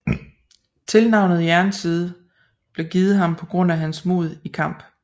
Tilnavnet Jernside blev givet ham på grund af hans mod i kamp